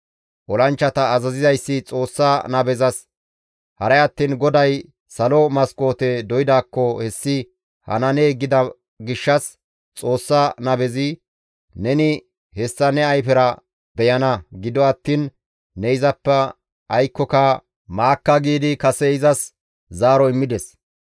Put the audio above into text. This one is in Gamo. Olanchchata azazizayssi Xoossa nabezas, «Haray attiin GODAY salo maskoote doydaakko hessi hananee?» gida gishshas Xoossa nabezi «Neni hessa ne ayfera beyana gido attiin ne izappe aykkoka maakka» giidi kase izas zaaro immides.